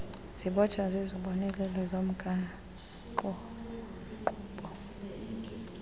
zibotshwa zizibonelelo zomgaqonkqubo